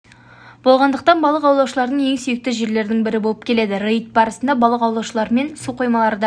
болғандықтан балық аулаушылардың ең сүйікті жерлерінің бірі болып келеді рейд барысында балық аулаушыларымен су қоймаларда